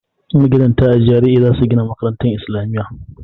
Magidanta a GRA za su gina makarantar isilamiya.